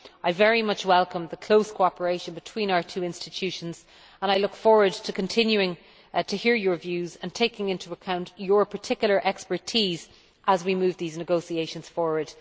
I very much welcome the close cooperation between our two institutions, and I look forward to continuing to hear your views and taking into account your particular expertise as we move these negotiations forward.